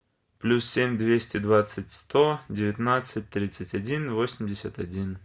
плюс семь двести двадцать сто девятнадцать тридцать один восемьдесят один